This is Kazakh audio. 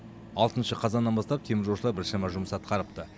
алтыншы қазаннан бастап теміржолшылар біршама жұмыс атқарыпты